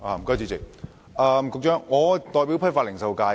主席，局長，我是代表批發及零售界的議員。